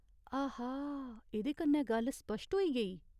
आहा, एह्दे कन्नै गल्ल स्पश्ट होई गेई।